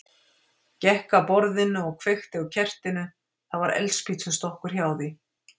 Gekk að borðinu og kveikti á kertinu, það var eldspýtustokkur hjá því.